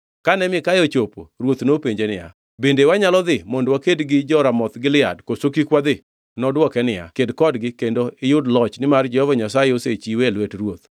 Kane Mikaya ochopo, ruoth nopenje niya, “Bende wanyalo dhi mondo waked gi jo-Ramoth Gilead, koso kik wadhi?” Nodwoke niya, “Ked kodgi kendo iyud loch nimar Jehova Nyasaye osechiwe e lwet ruoth.”